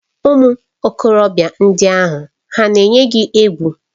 Ụmụ okorobịa ndị ahụ hà na-eyi gị egwu?